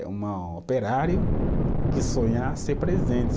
É uma operário que sonha ser presidente.